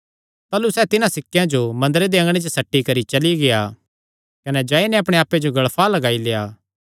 ताह़लू सैह़ तिन्हां सिक्केयां जो मंदरे दे अँगणे च सट्टी करी चली गेआ कने जाई नैं अपणे आप्पे जो गल़फा लगाई लेआ